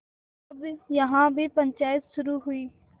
तब यहाँ भी पंचायत शुरू हुई